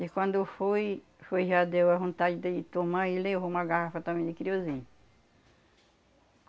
E quando foi, foi já deu a vontade dele tomar e ele levou uma garrafa também de querosene.